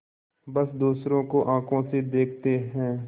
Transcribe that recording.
बस दूसरों को आँखों से देखते हैं